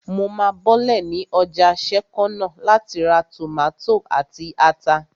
Mo máa bọ́lẹ̀ ní ọjà sẹ́kọ́nà láti ra tòmátò àti ata